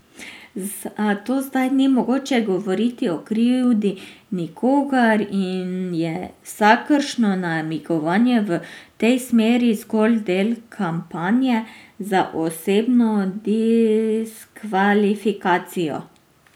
Zato zdaj ni mogoče govoriti o krivdi nikogar in je vsakršno namigovanje v tej smeri zgolj del kampanje za osebno diskvalifikacijo.